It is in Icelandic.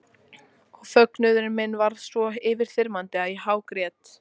Og fögnuður minn varð svo yfirþyrmandi að ég hágrét.